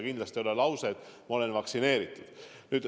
Kindlasti ei piisa lausest, et ma olen vaktsineeritud.